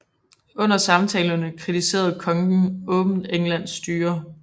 Under samtalerne kritiserer kongen åbent Englands styre